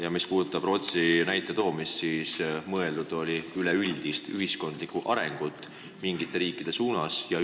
Ja mis puudutab Rootsi näite toomist, siis mõeldud oli üleüldist ühiskonna arengut mingite riikide suunas.